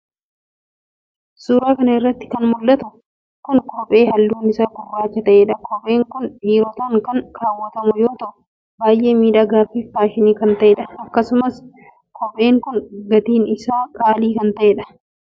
suura kana irratti kan mul'atu kun kophee halluun isaa gurraacha ta'edha. kopheen kun dhiirotaan kan kaawwatamu yoo ta'u baay'ee miidhagaa fi faashinii kan ta'edha. akkasumas kopheen kun gatiin isaa qaalii kan ta'edha.